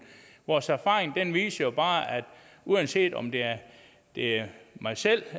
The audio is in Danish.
vores erfaringer viser bare at uanset om det er det er mig selv